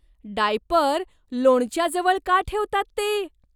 Diaper लोणच्याजवळ का ठेवतात ते?